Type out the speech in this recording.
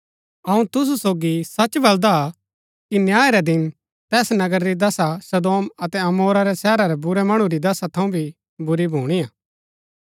अऊँ तुसु सोगी सच बलदा कि न्याय रै दिन तैस नगर री दशा सदोम अतै अमोरा रै शहरा रै बुरै मणु री दशा थऊँ भी बुरी भुणीआ